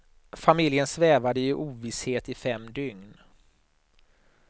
Familjen svävade i ovisshet i fem dygn.